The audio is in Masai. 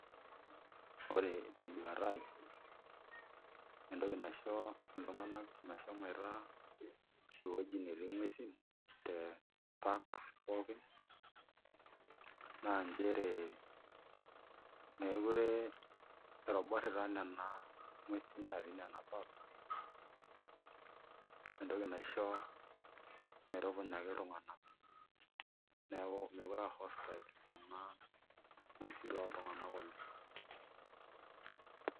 Ore tenduta aai entoki naisho iltung'anak meshomoita ewueji netii nguesin te parks pookin naa nchere meekure etoborrita nena nguesin naatii ina park entoki naisho metupunyaki iltung'anak neeku meekure aa hostile nena nguesin toltung'anak oleng'.